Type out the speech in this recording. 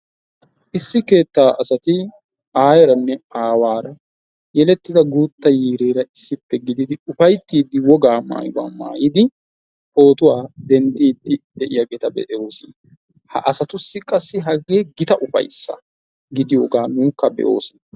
Issi keetta asati aayyeranne aawaara yelettida guutta yiirera issippe gididi ufayttidi woga maayuwaa maayidi pootuwaa denddidi de'iyaageeta be'oos. Ha asatussi qassi hagee gita upayssa gidiyooga nuukka be"oos.